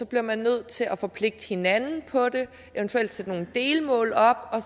bliver man nødt til at forpligte hinanden på det eventuelt sætte nogle delmål op og